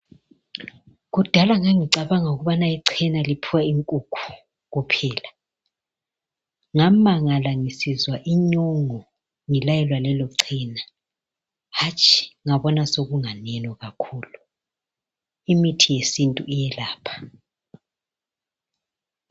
Kudala ngangicabanga ukubana ichena liphiwa inkukhu kuphela ngamangala ngisizwa inyongo ngilayelwa lelo chena hatshi! ngabona sokunganeno kakhulu, imithi yesintu iyelapha .